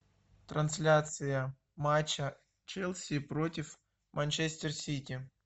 трансляция матча челси против манчестер сити